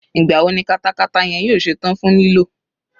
Ìgbà wo ni katakata yẹn yóò ṣe tán fún lílò?